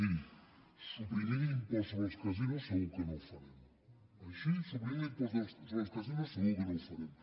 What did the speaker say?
miri suprimint l’impost sobre els casinos segur que no ho farem així suprimint l’impost sobre els casinos segur que no ho farem